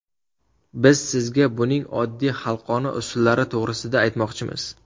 Biz sizga buning oddiy xalqona usullari to‘g‘risida aytmoqchimiz.